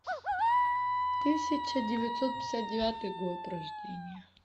тысяча девятьсот пятьдесят девятый год рождения